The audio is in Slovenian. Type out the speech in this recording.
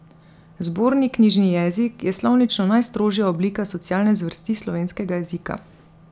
Zborni knjižni jezik je slovnično najstrožja oblika socialne zvrsti slovenskega jezika.